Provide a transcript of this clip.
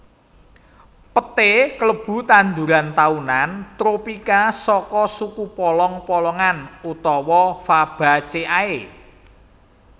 Peté kalebu tanduran taunan tropika saka suku polong polongan utawa Fabaceae